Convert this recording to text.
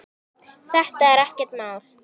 Þetta er ekkert mál.